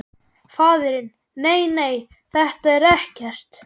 Faðirinn: Nei nei, þetta er ekkert.